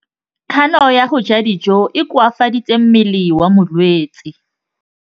Kganô ya go ja dijo e koafaditse mmele wa molwetse.